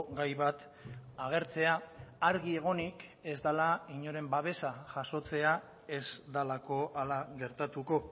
gai bat agertzea argi egonik ez dela inoren babesa jasotzea ez delako hala gertatuko